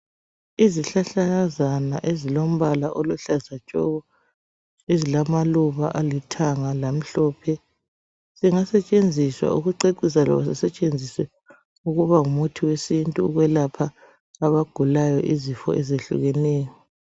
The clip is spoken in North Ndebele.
Izihlahlakazana ezilombala oluhlaza tshoko ezilamaluba alithanga lamhlophe zingasetshenziswa ukucecisa loba zisetshenziswe ukuba ngumuthi wesintu ukwelapha abagulayo izifo ezehlukeneyo.